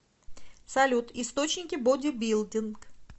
салют источники бодибилдинг